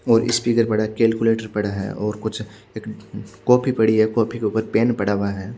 और स्पीकर पड़े केलकुलेटर पड़ा है और कुछ एक कॉपी पड़ी है कॉपी के उपर पेन पड़ा हुआ है।